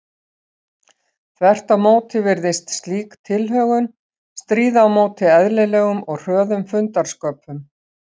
Þvert á móti virðist slík tilhögun stríða á móti eðlilegum og hröðum fundarsköpum.